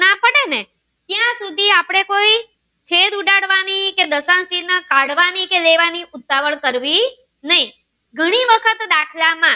એકાંકી કે દશાંકી ક્યારેય પાડવાની કે લેવાની ઉતાવળ કરવી નહી ઘણી વખત દાખલા માં